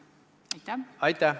Aitäh!